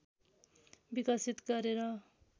विकसित गरेर